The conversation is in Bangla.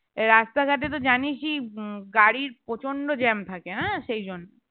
রাস্তাঘাটে তো জানিসই উম গাড়ির প্রচন্ত jam থাকে আহ সেই জন্য